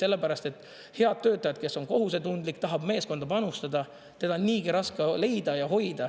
Sellepärast et head töötajad, kes on kohusetundlikud, tahavad meeskonda panustada – neid on raske leida ja hoida.